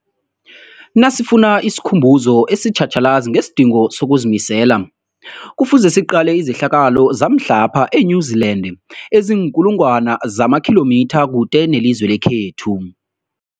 Nasifuna isikhumbuzo esitjhatjhalazi ngesidingo sokuzimisela, Kufuze siqale izehlakalo zamhlapha e-New Zealand eziinkulu ngwana zamakhilomitha kude nelizwe lekhethu.